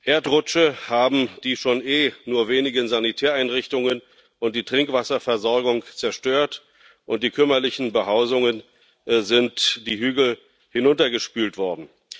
Erdrutsche haben die eh schon wenigen Sanitäreinrichtungen und die Trinkwasserversorgung zerstört, und die kümmerlichen Behausungen sind die Hügel hinuntergespült worden.